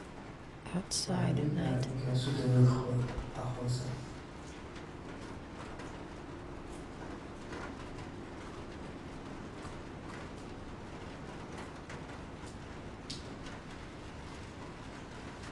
Waxaa deeg Aya ninkan suit mathaw Qaboh oo aqoonsan.